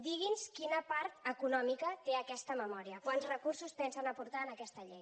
digui’ns quina part econòmica té aquesta memòria quants recursos pensen aportar a aquesta llei